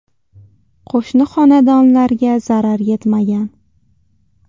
Qo‘shni xonadonlarga zarar yetmagan.